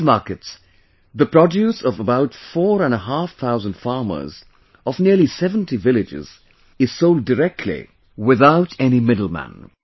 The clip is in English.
In these markets, the produce of about four and a half thousand farmers, of nearly 70 villages, is sold directly without any middleman